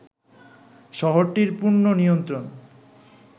শহরটির পূর্ণ নিয়ন্তণ